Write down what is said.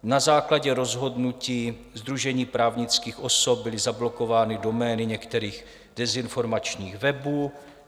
Na základě rozhodnutí sdružení právnických osob byly zablokovány domény některých dezinformačních webů.